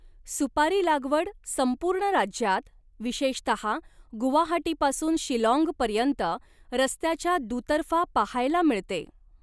सुपारी लागवड संपूर्ण राज्यात, विशेषतः गुवाहाटीपासून शिलाँग पर्यंत रस्त्याच्या दुतर्फा पाहायला मिळते.